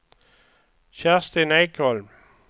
Kerstin Ekholm